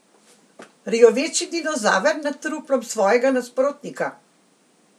Rjoveči dinozaver nad truplom svojega nasprotnika?